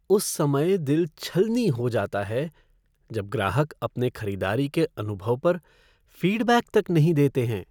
उस समय दिल छलनी हो जाता है जब ग्राहक अपने खरीदारी के अनुभव पर फ़ीडबैक तक नहीं देते हैं।